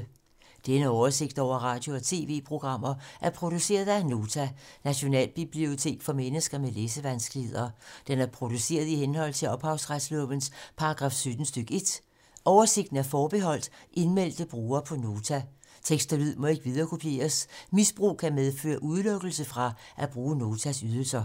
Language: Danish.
Denne oversigt over radio og TV-programmer er produceret af Nota, Nationalbibliotek for mennesker med læsevanskeligheder. Den er produceret i henhold til ophavsretslovens paragraf 17 stk. 1. Oversigten er forbeholdt indmeldte brugere på Nota. Tekst og lyd må ikke viderekopieres. Misbrug kan medføre udelukkelse fra at bruge Notas ydelser.